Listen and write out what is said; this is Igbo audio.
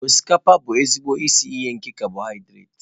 Osikapa bụ ezigbo isi iyi nke cabọhidrat.